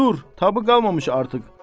Daha dur, taqatı qalmamış artıq.